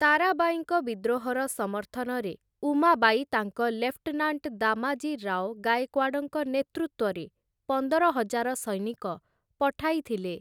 ତାରାବାଈଙ୍କ ବିଦ୍ରୋହର ସମର୍ଥନରେ ଉମାବାଈ ତାଙ୍କ ଲେଫ୍ଟନାଣ୍ଟ ଦାମାଜୀ ରାଓ ଗାଏକ୍ୱାଡଙ୍କ ନେତୃତ୍ୱରେ ପନ୍ଦର ହଜାର ସୈନିକ ପଠାଇଥିଲେ ।